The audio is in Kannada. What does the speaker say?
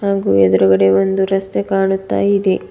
ಹಾಗೂ ಎದ್ರುಗಡೆ ಒಂದು ರಸ್ತೆ ಕಾಣುತ್ತ ಇದೆ.